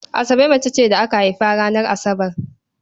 Asabe mace ce da aka haifa ranar Asabar.